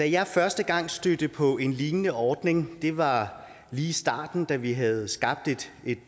jeg første gang stødte på en lignende ordning var lige i starten da vi havde skabt